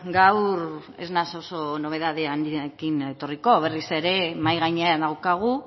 gaur ez naiz oso nobedade handiekin etorriko berriz ere mahai gainean daukagu